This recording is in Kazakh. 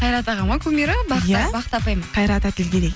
қайрат аға ма кумирі бақыт апай ма қайрат әділгерей